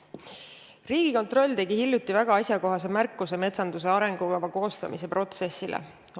Riigikontroll tegi hiljuti väga asjakohase märkuse metsanduse arengukava koostamise protsessi kohta.